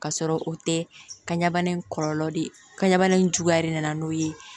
Ka sɔrɔ o tɛ kan ɲɛbana in kɔlɔlɔ de ye kanbana in juguya de nana n'o ye